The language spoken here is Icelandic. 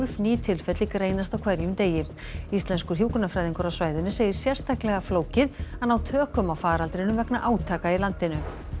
ný tilfelli greinast á hverjum degi íslenskur hjúkrunarfræðingur á svæðinu segir sérstaklega flókið að ná tökum á faraldrinum vegna átaka í landinu